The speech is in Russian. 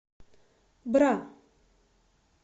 бра